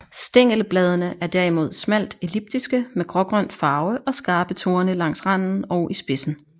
Stængelbladene er derimod smalt elliptiske med grågrøn farve og skarpe torne langs randen og i spidsen